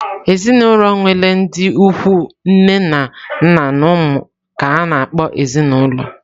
Ezinụlọ nwere ndị ikwu nne na nna na ụmụ ka a na-akpọ ezinaụlọ.